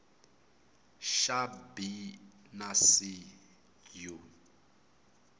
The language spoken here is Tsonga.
xa b na c u